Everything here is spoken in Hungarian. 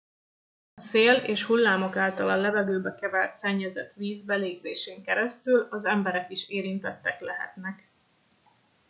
a szél és hullámok által a levegőbe kevert szennyezett víz belégzésén keresztül az emberek is érintettek lehetnek